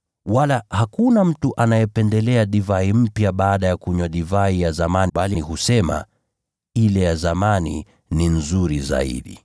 Wala hakuna mtu anayependelea divai mpya baada ya kunywa divai ya zamani, bali husema, ‘Ile ya zamani ni nzuri zaidi.’ ”